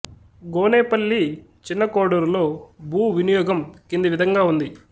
గోనేపల్లి చిన్న కోడూరులో భూ వినియోగం కింది విధంగా ఉంది